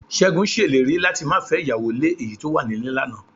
Ṣégun ṣèlérí láti máa fẹ́ ìyàwó lé èyí tó wà nílé lánàá